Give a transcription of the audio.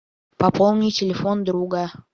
пополни телефон друга